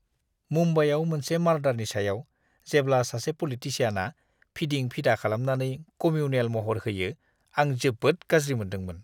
मुम्बाइयाव मोनसे मारडारनि सायाव जेब्ला सासे पलिटिसियानआ फिदिं-फिदा खालामनानै कमिउनेल महर होयो आं जोबोद गाज्रि मोनदोंमोन।